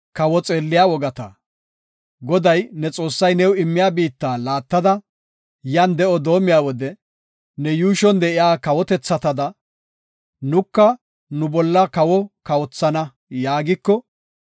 Goday, ne Xoossay new immiya biitta laattada, yan de7o doomiya wode, ne yuushon de7iya kawotethatada, “Nuka nu bolla kawo kawothana” yaagiko,